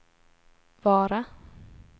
Vara